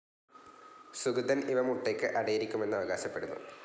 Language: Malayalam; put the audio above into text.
സുഗതൻ ഇവ മുട്ടയ്ക്ക് അടയിരിക്കുമെന്ന് അവകാശപ്പെടുന്നു.